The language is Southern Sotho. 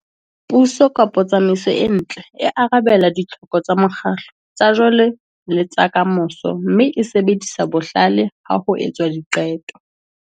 Puso kapa tsamaiso e ntle e arabela ditlhoko tsa mokgatlo, tsa jwale le tsa ka moso, mme e sebedisa bohlale ha ho etswa diqeto.